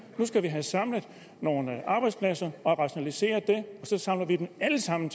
at nu skal vi have samlet nogle arbejdspladser og rationaliseret det og så samler vi dem alle sammen